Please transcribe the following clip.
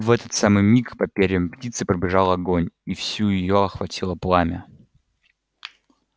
в этот самый миг по перьям птицы пробежал огонь и всю её охватило пламя